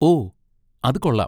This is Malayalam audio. ഓ! അത് കൊള്ളാം.